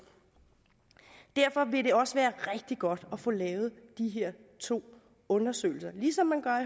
derfor vil det også være rigtig godt at få lavet de her to undersøgelser ligesom man gør